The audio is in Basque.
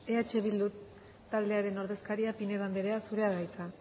eh bildu taldearen ordezkaria pinedo andrea zurea da hitza